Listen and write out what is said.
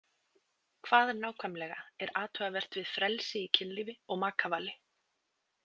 Hvað nákvæmlega er athugavert við frelsi í kynlífi og makavali?